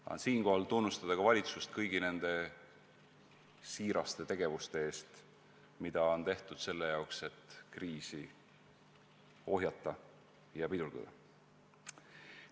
Tahan siinkohal tunnustada ka valitsust kõigi nende siiraste tegevuste eest, mida on tehtud selleks, et kriisi ohjata ja pidurdada.